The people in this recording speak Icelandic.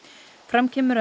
fram kemur að